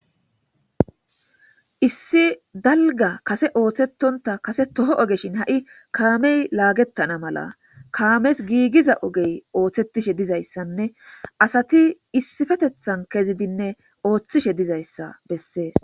issi dalga kase ooththetonta kase toho ogeshin ha7i kaamey laagettana mala kaames giigiza ogey ooththetishe dizayssanne asati issifetethan kezidinne ooththishe dizayssa bessees